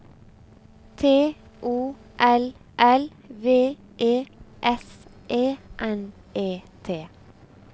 T O L L V E S E N E T